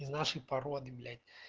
из нашей породы блять